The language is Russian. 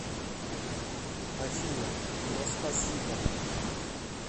афина но спасибо